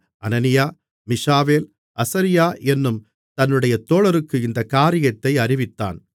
அனனியா மீஷாவேல் அசரியா என்னும் தன்னுடைய தோழருக்கு இந்தக் காரியத்தை அறிவித்தான்